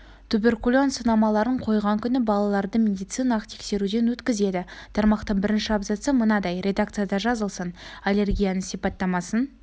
туберкулин сынамаларын қойған күні балаларды медициналық тексеруден өткізеді тармақтың бірінші абзацы мынадай редакцияда жазылсын аллергияның сипаттамасын